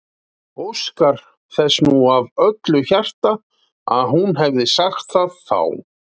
Óskar þess nú af öllu hjarta að hún hefði sagt það þá.